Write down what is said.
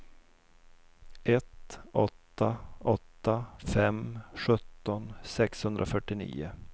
ett åtta åtta fem sjutton sexhundrafyrtionio